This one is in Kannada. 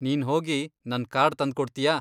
ನೀನ್ಹೋಗಿ ನನ್ ಕಾರ್ಡ್ ತಂದ್ಕೊಡ್ತೀಯಾ?